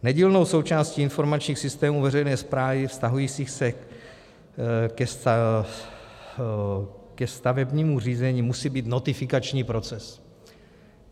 Nedílnou součástí informačních systémů veřejné správy vztahujících se ke stavebnímu řízení musí být notifikační proces.